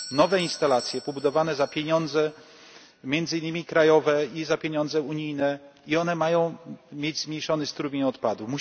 nowe instalacje wybudowane za pieniądze między innymi krajowe i za pieniądze unijne i one mają mieć zmniejszony strumień odpadów.